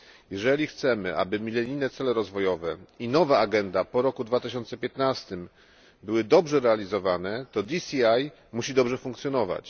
Jeżeli chcemy, aby milenijne cele rozwojowe i nowa agenda po roku 2015 były dobrze realizowane, to DCI musi dobrze funkcjonować.